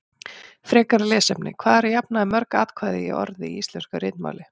Frekara lesefni: Hvað eru að jafnaði mörg atkvæði í orði í íslensku ritmáli?